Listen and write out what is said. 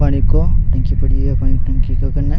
पानी को टंकी पड़ी है पानी की टंकी के कन्ने।